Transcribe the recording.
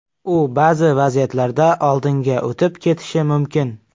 U ba’zi vaziyatlarda oldinga o‘tib ketishi mumkin.